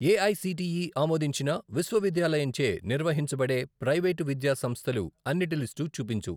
AICTE ఆమోదించిన విశ్వవిద్యాలయంచే నిర్వహించబడే ప్రైవేటు విద్యా సంస్థలు అన్నిటి లిస్టు చూపించు.